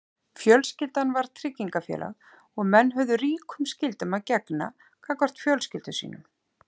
Fjölskyldan var tryggingafélag og menn höfðu ríkum skyldum að gegna gagnvart fjölskyldum sínum.